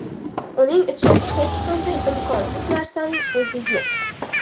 Uning uchun hech qanday imkonsiz narsaning o‘zi yo‘q.